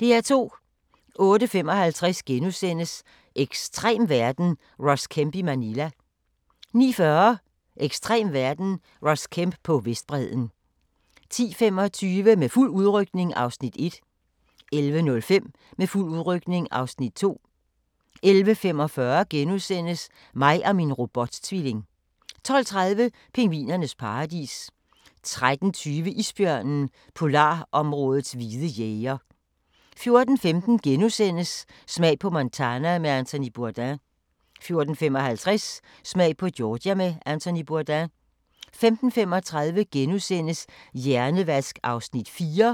08:55: Ekstrem verden – Ross Kemp i Manila * 09:40: Ekstrem verden – Ross Kemp på Vestbredden 10:25: Med fuld udrykning (Afs. 1) 11:05: Med fuld udrykning (Afs. 2) 11:45: Mig og min robot-tvilling * 12:30: Pingvinernes paradis 13:20: Isbjørnen – polarområdets hvide jæger 14:15: Smag på Montana med Anthony Bourdain * 14:55: Smag på Georgia med Anthony Bourdain 15:35: Hjernevask (4:7)*